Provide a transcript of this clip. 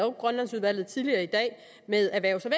og grønlandsudvalget med erhvervs og